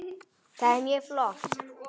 Það er mjög flott.